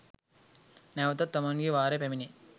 නැවතත් තමන්ගේ වාරය පැමිණේ.